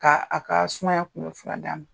K' a ka sumayaya kunbɛ fura d'a ma.